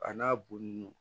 A n'a bon